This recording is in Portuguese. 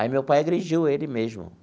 Aí meu pai agrediu ele mesmo.